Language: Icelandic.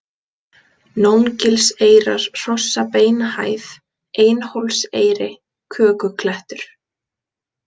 Nóngilseyrar, Hrossabeinahæð, Einhólseyri, Kökuklettur